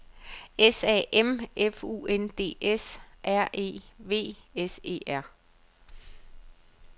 S A M F U N D S R E V S E R